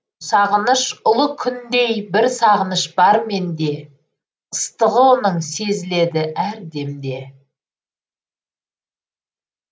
сағыныш ұлы күндей бір сағыныш бар менде ыстығы оның сезіледі әр демде